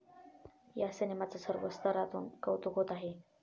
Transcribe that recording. या सिनेमाचं सर्व स्तरातून कौतुक होत आहे.